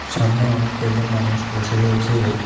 সামনে অনেক কয়জন মানুষ বসে রয়েছে।